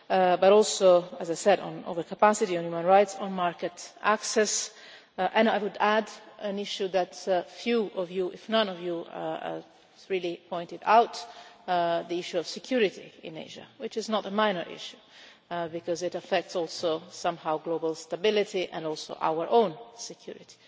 but also as I said on overcapacity, on human rights, on market access and I would add an issue that few of you if none of you really pointed out, the issue of security in Asia, which is not a minor issue because it affects also, somehow, global stability and also our own security,